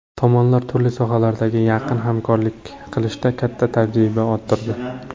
Tomonlar turli sohalardagi yaqin hamkorlik qilishda katta tajriba orttirdi.